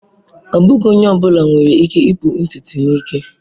Ọ bụghị onye ọ bụla nwere ike ipu ntutu n'ike.